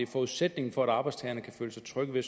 forudsætningen for at arbejdstagerne kan føle sig trygge ved